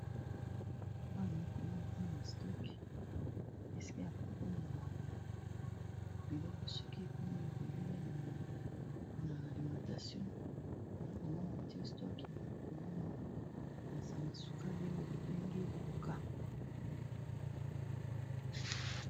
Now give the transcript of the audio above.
Awa nazali komona eza na stock esike ya kobomba biloko soki ekomi ebele na alimitation naa komonana tie stok ya kobomba basanga-suka vie oyo babengi koka